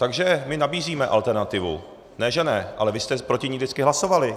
Takže my nabízíme alternativu, ne že ne, ale vy jste proti ní vždycky hlasovali.